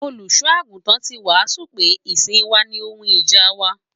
Olùṣọ àgùntàn tí wàásù pé ìsìn wà ní ohun ìjà wa.